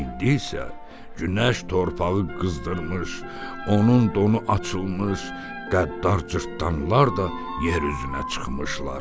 İndi isə günəş torpağı qızdırmış, onun donu açılmış, qəddar cırtdanlar da yer üzünə çıxmışlar.